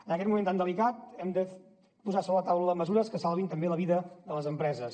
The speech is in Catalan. en aquest moment tan delicat hem de posar sobre la taula mesures que salvin també la vida de les empreses